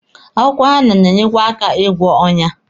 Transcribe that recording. Akwụkwọ henna na-enyekwa aka ịgwọ ọnyá.